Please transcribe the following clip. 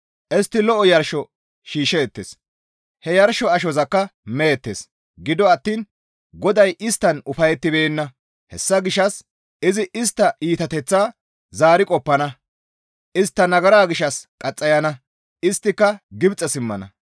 Istti lo7o yarsho shiishsheettes he yarsho ashozakka meettes; gido attiin GODAY isttan ufayettibeenna. Hessa gishshas izi istta iitateththaa zaari qoppana; istta nagara gishshas qaxxayana. Isttika Gibxe simmana.